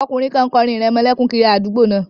Ọkùnrin kan kọ orin ìrẹmọlẹ́kún kiri àdúgbò náà